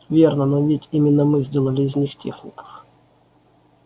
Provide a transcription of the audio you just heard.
верно но ведь именно мы сделали из них техников